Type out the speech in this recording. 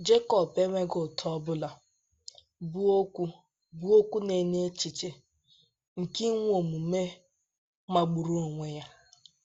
Jekọb enweghị ụta ọbụla, bụ́ okwu bụ́ okwu na - enye echiche nke inwe omume magburu onwe ya.